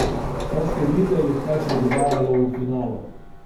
Saj ste videli, kaj se dogajalo v finalu.